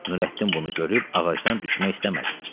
Nurəddin bunu görüb ağacdan düşmək istəmədi.